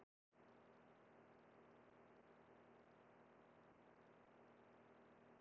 Eins og fram kemur í svari við spurningunni Hvað standa eldgos lengi?